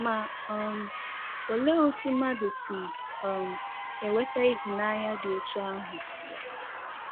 Ma um olee otú mmadụ si um enweta ịhụnanya dị otú ahụ?